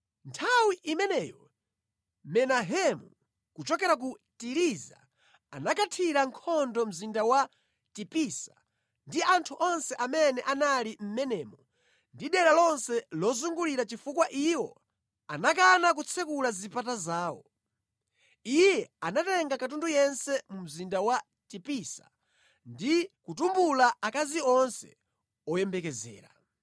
Nthawi imeneyo Menahemu, kuchokera ku Tiriza, anakathira nkhondo mzinda wa Tipisa ndi anthu onse amene anali mʼmenemo ndi dera lonse lozungulira chifukwa iwo anakana kutsekula zipata zawo. Iye anatenga katundu yense mu mzinda wa Tipisa ndi kutumbula akazi onse oyembekezera.